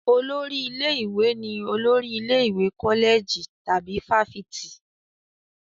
Olórí ilé-ìwé ni olórí ilé ìwé kọ́lẹ̀jì tàbí fáfitì.